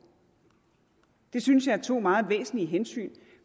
det synes jeg er to meget væsentlige hensyn